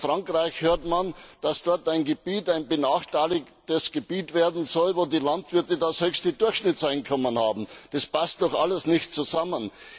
Aus Frankreich hört man, dass dort ein Gebiet ein benachteiligtes Gebiet werden soll, in dem die Landwirte das höchste Durchschnittseinkommen haben. Das passt doch alles nicht zusammen!